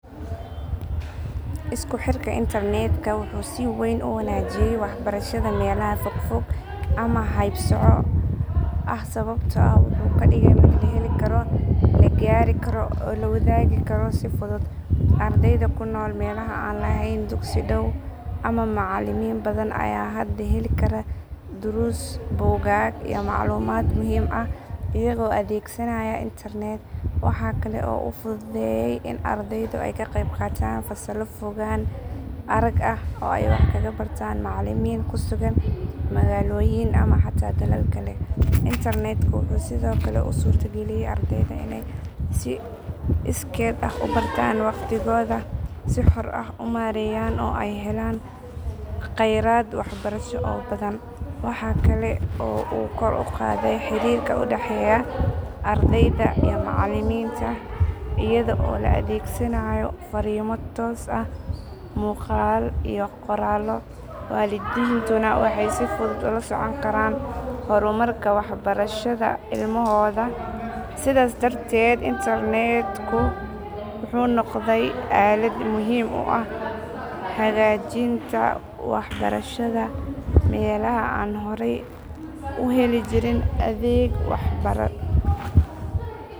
Isku xiirka Internet ka wxu sii weyn uu wanajiyaay waxbarashada melaha fogfog ama haybsoc ah sababto ah wxu ka dhigay mid laheli karo lagari karo oo lawadagi karo dii fuduud ardayda kunool melaha aan laheyn dugsi Dhaaw ama macalimiin badaan ayaa hada heeli kaara darus buugaag iyo maclumaad muhiim ah iyago adegsanaya Internet, Wxa kaale uu fududeyaay iin ardaydu aay kaa qeybqataan fasaalo fogaan araag ah oo aay wax kaga bartaan macalimiin kuu dugaan magaloyiin ama xata melaal Kaale Internet ku wxuu sido kale uu surto galiyaay ardaydu iney sii iskood ah uu bartaan waqtiigoda si xoor ah uu mareyaan oo aay helaan Kheyraad waxbarasho oo badaan waxa Kaale oo koor uu qadaay xiriirka uu dhaxeyaay ardayda iyo macalimiinta iyada oo laa adeegsanaayo fariimo toos ah muqaalo iyo qoraalo walidiintuuna wxey sii fuduud ulaa socoon karaan hormarka waxbashashada ilmahooda sidaas darteed Internet ku wxu noqday aalaad muhiim uu ah hagajiinta waxbarashada melaha aan horaay uu helii jiriin adeega waxbaradhada